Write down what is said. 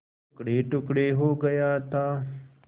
टुकड़ेटुकड़े हो गया था